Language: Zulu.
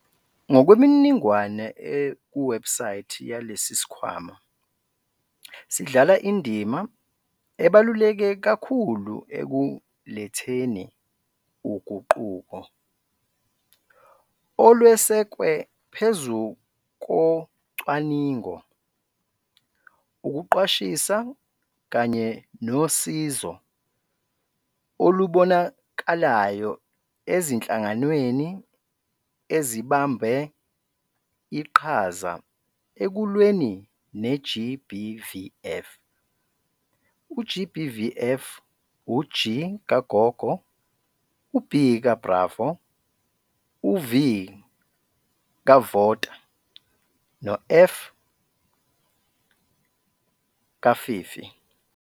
Ngokwemininingwane ekuwebhusayithi yalesi sikhwama, sidlala indima ebaluleke kakhulu ekuletheni uguquko, olwesekwe phezu kocwaningo, ukuqwashisa kanye nosizo olubonakalayo ezinhlanganweni ezibambe iqhaza ekulweni ne-GBVF. U-GBVF u-G kagogo, u-B ka-bravo, u-V kavota no-F kafifi.